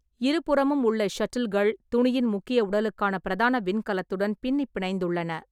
இருபுறமும் உள்ள ஷட்டில்கள் துணியின் முக்கிய உடலுக்கான பிரதான விண்கலத்துடன் பின்னிப் பிணைந்துள்ளன.